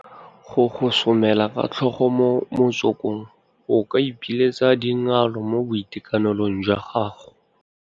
Go gosomela ka tlhogo mo motsokong o ka ipiletsa dingalo mo boitekanelong jwa gago.